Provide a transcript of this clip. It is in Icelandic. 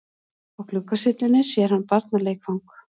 Á gluggasyllunni sér hann barnaleikfang.